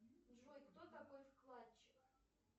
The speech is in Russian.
джой кто такой вкладчик